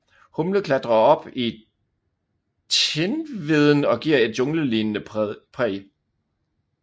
Humle klatrer op i tindveden og giver et junglelignende præg